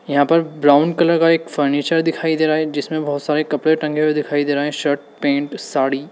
यहां पे brown colour का एक फर्नीचर दिखाई दे रहा है जिसमें बहोत सारे कपड़े टंगे हुए दिखाई दे रहे हैं शर्ट पैंट साड़ी।